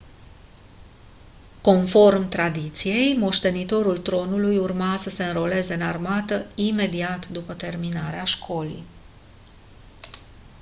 conform tradiției moștenitorul tronului urma să se înroleze în armată imediat după terminarea școlii